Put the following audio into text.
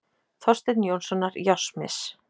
Þorsteins Jónssonar járnsmiðs.